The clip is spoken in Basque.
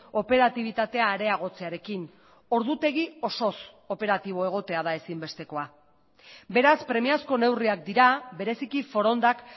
operatibitatea areagotzearekin ordutegi osoz operatibo egotea da ezinbestekoa beraz premiazko neurriak dira bereziki forondak